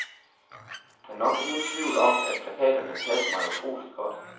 Der er nok ingen tvivl om, at plakaterne passer mig utroligt godt.